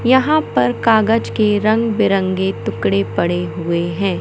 यहां पर कागज के रंग बिरंगे टुकड़े पड़े हुए हैं।